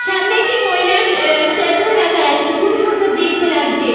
সামনে একটি মহিলার এ এ স্তাতু ও দেখা যাচ্ছে খুবই সুন্দর দেখতে লাগছে।